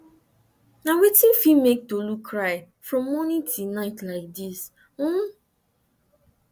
na wetin fit make fit make tolu cry from morning till night like this um